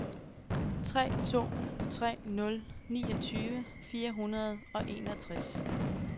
tre to tre nul niogtyve fire hundrede og enogtres